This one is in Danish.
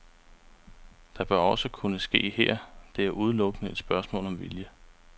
Det bør også kunne ske her, det er udelukkende et spørgsmål om vilje.